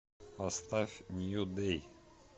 поставь нью дэй